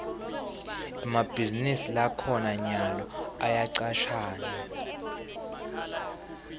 emabhizinisi lakhona nyalo ayacashana